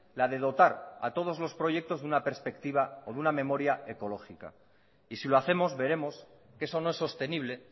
la de dotar a todos los proyectos de una perspectiva o de una memoria ecológica y si lo hacemos veremos que eso no es sostenible